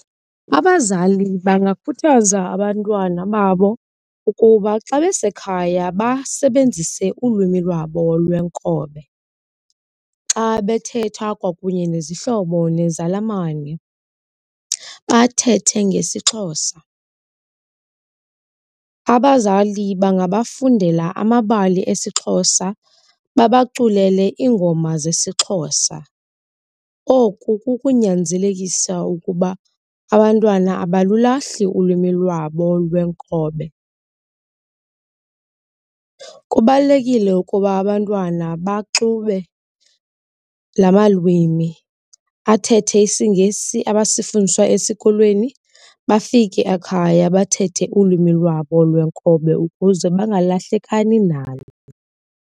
Abazali bangakhuthaza abantwana babo ukuba xa besekhaya basebenzise ulwimi lwabo lwenkobe, xa bethetha kwakunye nezihlobo nezalamane bathethe ngesiXhosa. Abazali bangabafundela amabali esiXhosa, babaculele iingoma zesiXhosa, oku kukunyanzelekisa ukuba abantwana abalulahli ulwimi lwabo lwenkobe. Kubalulekile ukuba abantwana baxube la malwimi, athethe isiNgesi abasifundiswa esikolweni bafike ekhaya bathethe ulwimi lwabo lwenkobe ukuze bangalahlekani nalo.